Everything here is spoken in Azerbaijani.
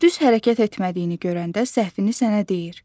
Düz hərəkət etmədiyini görəndə səhvini sənə deyir.